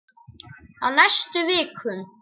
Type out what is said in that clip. Á næstu vikum.